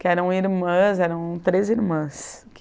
que eram irmãs, eram três irmãs.